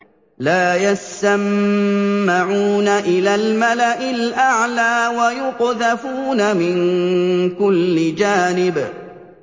لَّا يَسَّمَّعُونَ إِلَى الْمَلَإِ الْأَعْلَىٰ وَيُقْذَفُونَ مِن كُلِّ جَانِبٍ